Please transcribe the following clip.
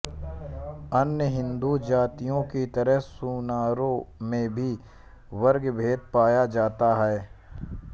अन्य हिन्दू जातियों की तरह सुनारों में भी वर्गभेद पाया जाता है